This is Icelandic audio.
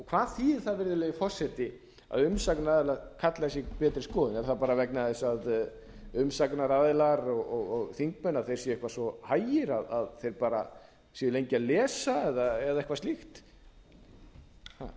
hvað þýðir það virðulegi forseti að umsagnaraðilar kalla betri skoðun er það bara vegna þess að umsagnaraðilar og þingmenn séu eitthvað svo hægir að þeir bara séu lengi að lesa eða eitthvað slíkt það hefur